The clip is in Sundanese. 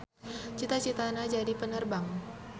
Cita-citana jadi penerbang.